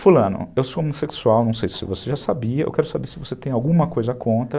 Fulano, eu sou homossexual, não sei se você já sabia, eu quero saber se você tem alguma coisa contra.